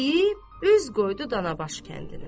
deyib, üz qoydu Danabaş kəndinə.